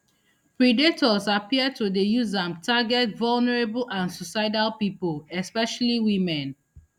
predators appear to dey use am target vulnerable and suicidal pipo especially women